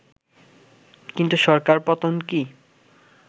কিন্তু সরকার পতন কি